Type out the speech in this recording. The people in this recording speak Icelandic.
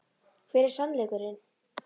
Hver er sannleikurinn?